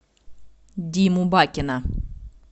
диму бакина